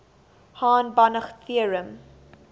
hahn banach theorem